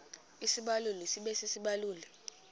isibaluli sibe sisibaluli